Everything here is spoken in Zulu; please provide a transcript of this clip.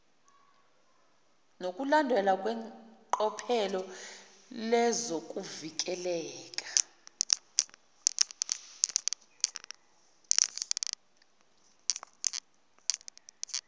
nokulandelwa kweqophelo lezokuvikeleka